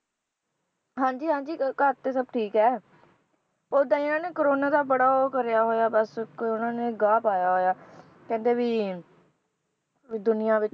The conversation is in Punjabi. ਹਾਂਜੀ ਹਾਂਜੀ ਅਹ ਘਰ ਤੇ ਸਬ ਠੀਕ ਹੈ ਓਦਾਂ ਹੀ ਇਹਨਾਂ ਨੇ ਕੋਰੋਨਾ ਦਾ ਬੜਾ ਉਹ ਕਰਿਆ ਹੋਇਆ ਬਸ ਇੱਕ ਇਹਨਾਂ ਨੇ ਗਾਹ ਪਾਇਆ ਹੋਇਆ ਕਹਿੰਦੇ ਵੀ ਦੁਨੀਆਂ ਵਿਚ